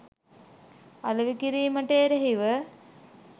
අලෙවි කිරීමට එරෙහිව